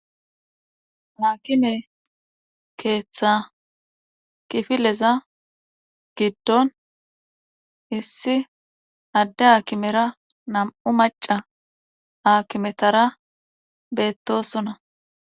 Haakime keeththa kifileza giddon issi adde aakimera nam7u macca aakimetara beettoosona.